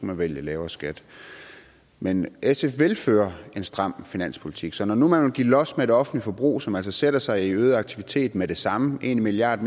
man vælge lavere skat men sf vil føre en stram finanspolitik så når nu man vil give los for det offentlige forbrug som altså sætter sig i øget aktivitet med det samme en milliard